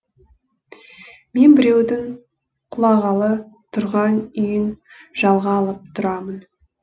мен біреудің құлағалы тұрған үйін жалға алып тұрамын